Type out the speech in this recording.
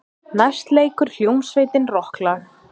Næst leikur hljómsveitin rokklag.